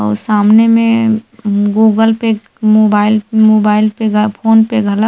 अउ सामने मे गूगल पे मोबाइल मोबाइल पे गा फ़ोन पे घला--